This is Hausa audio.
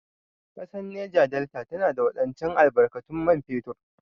Ƙasar Neja Delta tana da wadataccen albarkatun man fetur.